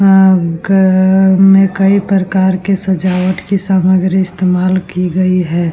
अ घर में कई प्रकार की सजावट की सामग्री इस्तेमाल की गई हैं ।